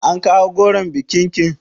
An kawo goron bikin ki?